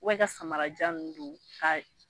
Wa i ka samarajan ninnu don ka